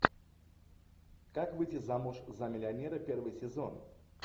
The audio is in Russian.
как выйти замуж за миллионера первый сезон